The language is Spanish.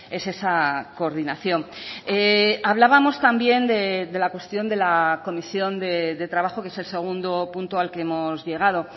es esa coordinación hablábamos también de la cuestión de la comisión de trabajo que es el segundo punto al que hemos llegado